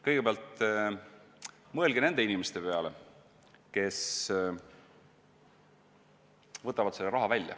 Kõigepealt mõelge nende inimeste peale, kes võtavad selle raha välja.